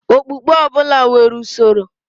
Okpukpe ọbụla nwere usoro.